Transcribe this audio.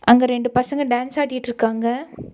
அங்க ரெண்டு பசங்க டான்ஸ் ஆடிட்ருக்காங்க.